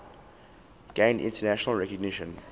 gained international recognition